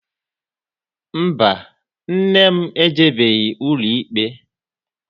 Mba, nne m ejebeghị ụlọikpe.